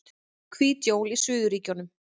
Hvít jól í suðurríkjunum